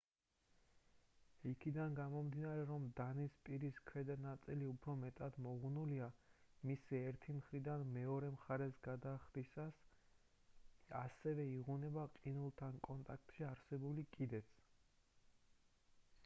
იქედან გამომდინარე რომ დანის პირის ქვედა ნაწილი უფრო მეტად მოღუნულია მისი ერთი მხრიდან მეორე მხარეს გადახდისას ასევე იღუნება ყინულთან კონტაქტში არსებული კიდეც